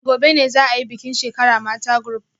Gobe ​​ne za a yi bikin shekara mata group